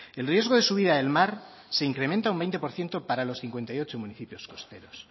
el riesgo de subida del mar se incrementa un veinte por ciento para los cincuenta y ocho municipios costeros